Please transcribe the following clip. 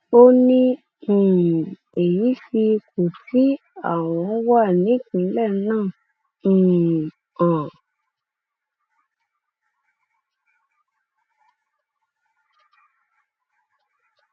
ó ní um èyí fi ipò tí àwọn wà nípìnlẹ náà um hàn